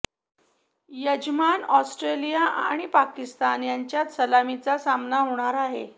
यजमान ऑस्ट्रेलिया आणि पाकिस्तान यांच्यात सलामीचा सामना होणार आहे